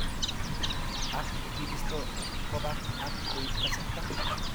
Ak kibisto kobak ak koib kasarta.